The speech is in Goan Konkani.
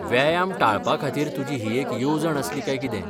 व्यायाम टाळपा खातीर तुजी ही एक येवजण आसली काय कितें?